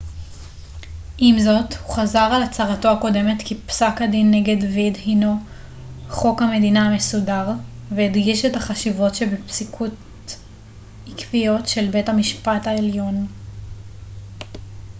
עם זאת הוא חזר על הצהרתו הקודמת כי פסק הדין רו נגד ווייד הנו חוק המדינה המסודר והדגיש את החשיבות שבפסיקות עקביות של בית המשפט העליון